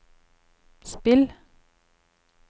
spill